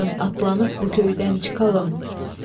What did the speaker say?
Yarın atlanıb bu köydən çıxalım.